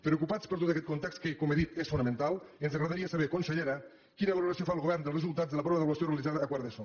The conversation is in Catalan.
preocupats per tot aquest context que com he dit és fonamental ens agradaria saber consellera quina valoració fa el govern dels resultats de la prova d’avaluació realitzada a quart d’eso